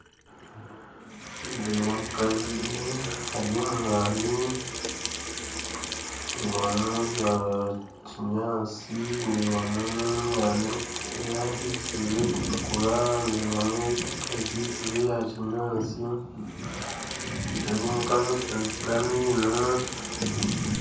Nindeeba omukazi ari omu mwani ndeebamu ogwa kinyaatsi ndeebamu omwani ogwahisiize ogurikutukura ndeebamu ogutakahisize ogwa kinyaatsi ndeeba omukazi asinikyire amaino